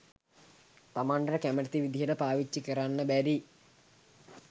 තමන්ට කැමැති විදියට පාවිච්චි කරන්න බැරි?